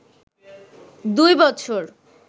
দুই বছর